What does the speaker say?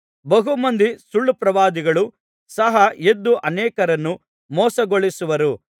ಬಹು ಮಂದಿ ಸುಳ್ಳುಪ್ರವಾದಿಗಳು ಸಹ ಎದ್ದು ಅನೇಕರನ್ನು ಮೋಸಗೊಳಿಸುವರು